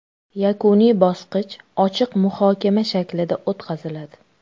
Yakuniy bosqich ochiq muhokama shaklida o‘tkaziladi.